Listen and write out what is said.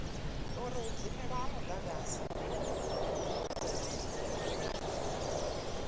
uri u dzimelwa ha mudagasi